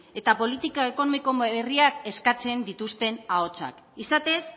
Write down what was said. eta politika ekonomiko berriak eskatzen dituzten ahotsak izatez